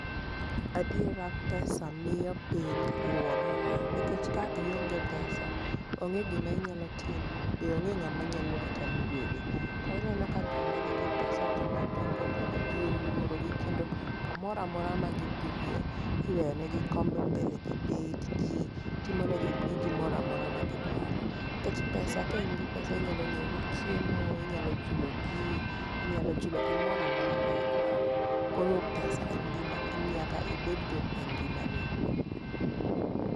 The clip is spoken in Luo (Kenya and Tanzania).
Adiera pesa miyo piny luorore nikech ka ionge pesa, onge gi mainyalo timo be onge ng'a mabiro kata luori. To ineno ka jo ma nigi pesa jo madongo dongo ji oluorogi kendo kamora mora magidhie, iweyonegi kombe mbele gibet. Ji timonegi gi mora mora ma gidwaro. Nikech pesa ka in gi pesa, inyalo nyiewo go chiemo, inyalo chulo ji, inyalo chulo gimoramora ma idwaro. Koro pesa en gi ma nyaka ibed go e ngima ni.